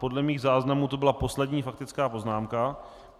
Podle mých záznamů to byla poslední faktická poznámka.